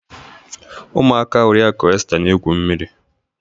Ụmụaka oriaku Esta na-egwu mmiri